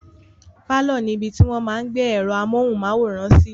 Pálọ̀ ní ibi tí wọ́n máa n gbé ẹ̀rọ amóhùnmáwòrán sí